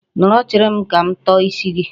Nọrọ chere m ka m tọọ isi gị.